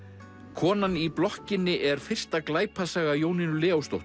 konan í blokkinni er fyrsta glæpasaga Jónínu